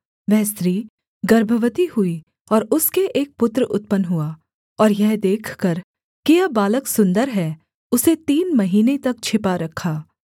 वह स्त्री गर्भवती हुई और उसके एक पुत्र उत्पन्न हुआ और यह देखकर कि यह बालक सुन्दर है उसे तीन महीने तक छिपा रखा